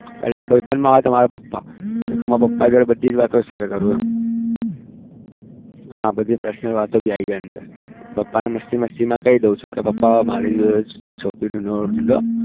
પેલા ભાઈબંધ માં આવે તો મારા પપ્પા હું બધી વાતો share કરું હા બધી personal વાતો પણ આવી જાય એટલે મસ્તી મસ્તી માં કઈ દઉં પપ્પા હવે મારા માટે છોકરી